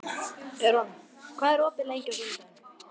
Eron, hvað er opið lengi á sunnudaginn?